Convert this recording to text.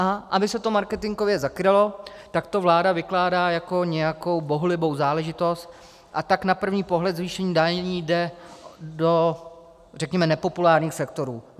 A aby se to marketingově zakrylo, tak to vláda vykládá jako nějakou bohulibou záležitost, a tak na první pohled zvýšení daní jde do, řekněme, nepopulárních sektorů.